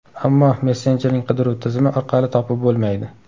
Ammo messenjerning qidiruv tizimi orqali topib bo‘lmaydi.